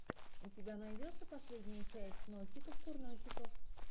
у тебя найдется последняя часть носиков курносиков